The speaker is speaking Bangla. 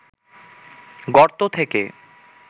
গর্ত থেকে